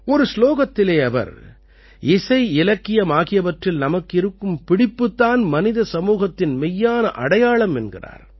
ஒரு சுலோகத்திலே அவர் இசை இலக்கியம் ஆகியவற்றில் நமக்கு இருக்கும் பிடிப்புத் தான் மனித சமூகத்தின் மெய்யான அடையாளம் என்கிறார்